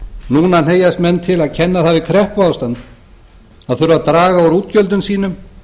núna hneigjast menn til að kenna það við kreppuástand að þurfa að draga úr útgjöldum sínum